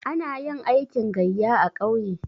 Ana yin aikin gayya a ƙauye.